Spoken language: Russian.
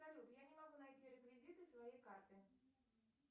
салют я не могу найти реквизиты своей карты